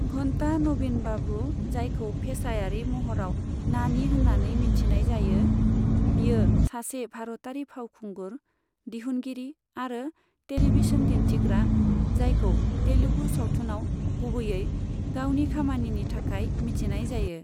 घन्टा नवीन बाबू, जायखौ फेसायारि महराव नानी होन्नानै मिथिनाय जायो, बियो सासे भारतारि फावखुंगुर, दिहुनगिरि आरो टेलिभिसन दिन्थिग्रा, जायखौ तेलुगु सावथुनाव गुबैयै गावनि खामानिनि थाखाय मिथिनाय जायो।